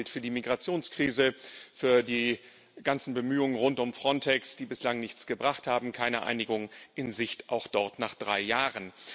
Dasselbe gilt für die Migrationskrise, für die ganzen Bemühungen rund um Frontex, die bislang nichts gebracht haben keine Einigung in Sicht auch dort, nach drei Jahren.